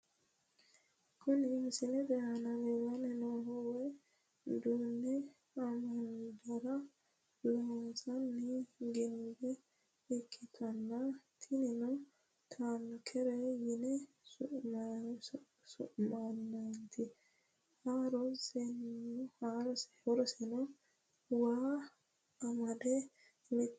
Kuni misilete aana la'nanni noohu waa duunne amandara loonsoonni ginbe ikkitanna, tinino taankeret yine su'minannite. horoseno waa amadde mitte basenni wole base sayiisateeti.